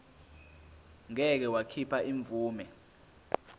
ngeke wakhipha imvume